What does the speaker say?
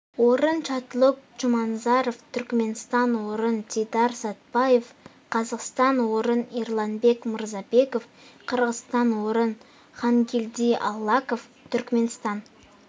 орын чатлук джуманазаров түркменстан орын дидар сатбаев қазақстан орын эрланбек мырзбеков қырғызстан орын хангелди аллаков түркменстан